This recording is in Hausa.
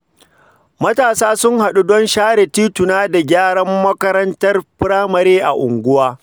Matasa sun haɗu don share tituna da gyaran makarantar firamare a unguwa.